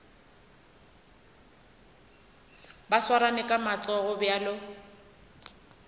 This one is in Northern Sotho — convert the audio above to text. ba swarane ka matsogo bjalo